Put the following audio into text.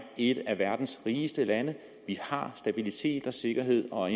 et af verdens rigeste lande vi har stabilitet og sikkerhed og